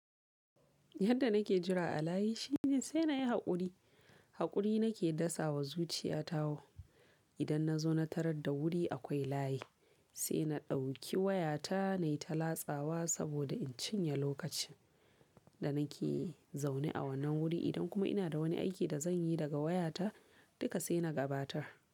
Yadda nake jira a layi shine sai nayi haƙuri. Haƙuri nake dasawa zuciyata wo. Idan na zo na tarar da wuri akwai layi, sai na ɗauki wayata na yi ta latsawa saboda in cinye lokacin da nake zaune a wannan wuri, idan kuma ina da wani aiki da zan yi daga wayata, duka sai na gabatar.